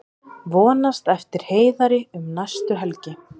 Vonast eftir Heiðari um næstu helgi